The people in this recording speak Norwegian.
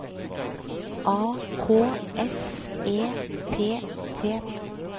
A K S E P T